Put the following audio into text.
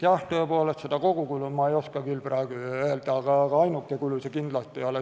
Jah, tõepoolest, kogukulu ma ei oska küll praegu öelda, aga ainuke kulu see kindlasti ei ole.